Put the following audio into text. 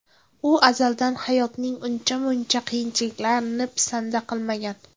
U azaldan hayotning uncha-muncha qiyinchiliklarini pisanda qilmagan.